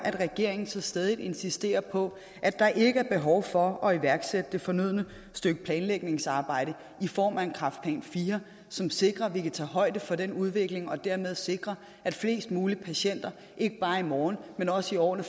regeringen så stædigt insisterer på at der ikke er behov for at iværksætte det fornødne stykke planlægningsarbejde i form af en kræftplan iv som sikrer at vi kan tage højde for den udvikling og dermed sikre at flest mulige patienter ikke bare i morgen men også i årene